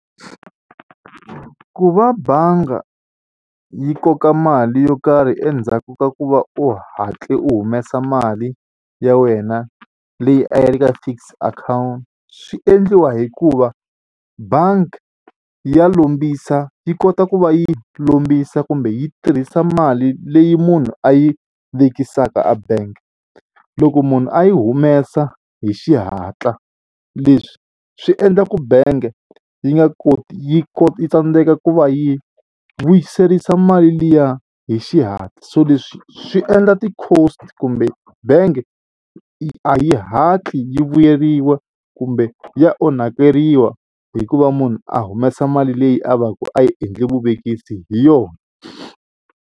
Ku va bangi yi koka mali yo karhi endzhaku ka ku va u hatle u humesa mali ya wena leyi a ya ri ka fixed account swi endliwa hikuva bangi ya lombisa yi kota ku va yi lombisa kumbe yi tirhisa mali leyi munhu a yi vekisaka a bank. Loko munhu a yi humesa hi xihatla leswi swi endlaku bank yi nga koti yi ku tsandzeka ku va yi vuyiserisa mali liya hi xihatla so leswi swi endla ti-cost kumbe bangi a yi hatli yi vuyeriwa kumbe ya onhakeriwa hi ku va munhu a humesa mali leyi a va ku a yi endli vuvekisi hi yona.